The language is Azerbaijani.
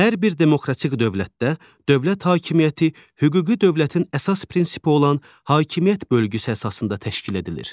Hər bir demokratik dövlətdə dövlət hakimiyyəti hüquqi dövlətin əsas prinsipi olan hakimiyyət bölgüsü əsasında təşkil edilir.